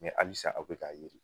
alisa aw bɛ k'a ye de.